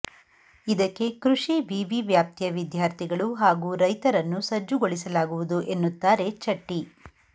ಇದಕ್ಕೆ ಕೃಷಿ ವಿವಿ ವ್ಯಾಪ್ತಿಯ ವಿದ್ಯಾರ್ಥಿಗಳು ಹಾಗೂ ರೈತರನ್ನು ಸಜ್ಜುಗೊಳಿಸಲಾಗುವುದು ಎನ್ನುತ್ತಾರೆ ಚಟ್ಟಿ